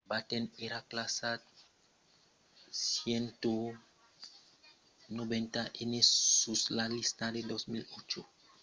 batten èra classat 190n sus la lista de 2008 dels 400 americans mai rics amb una fortuna estimada de 2,3 miliards de dolars